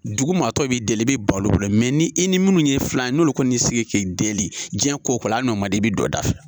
Dugu maa tɔw bɛ deli i bɛ ban olu bolo ni i ni minnu ye filan n'olu kɔni y'i sigi k'i deli jiyɛn ko o ko la hali n'o man d'i ye i bɛ don o da fɛ.